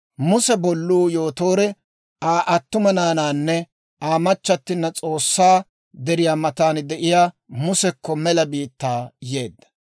Muse bolluu Yootoore Aa attuma naanaanne Aa machchattina S'oossaa deriyaa matan de'iyaa Musekko mela biittaa yeedda.